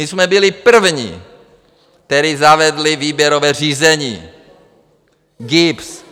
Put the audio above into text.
My jsme byli první, kteří zavedli výběrové řízení GIBS.